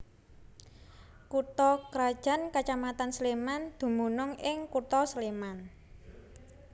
Kutha krajan kacamatan Sléman dumunung ing Kutha Sléman